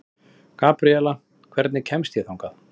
Gabriela, hvernig kemst ég þangað?